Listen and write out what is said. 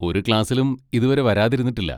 ഒരു ക്ലാസ്സിലും ഇതുവരെ വരാതിരുന്നിട്ടില്ല.